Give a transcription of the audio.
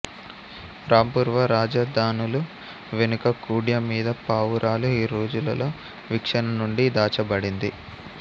రాంపూర్వా రాజధానులు వెనుక కుడ్యం మీద పావురాలు ఈ రోజులలో వీక్షణ నుండి దాచబడింది